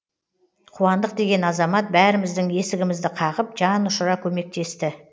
қуандық деген азамат бәріміздің есігімізді қағып жан ұшыра көмектесті